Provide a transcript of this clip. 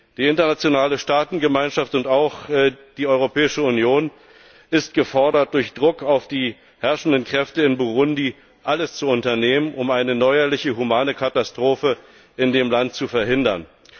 Die internationale Staatengemeinschaft und auch die Europäische Union sind gefordert, durch Druck auf die herrschenden Kräfte in Burundi alles zu unternehmen, um eine neuerliche humanitäre Katastrophe in dem Land zu verhindern.